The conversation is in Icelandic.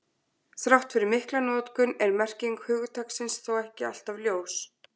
Þrátt fyrir mikla notkun er merking hugtaksins þó ekki alltaf ljós.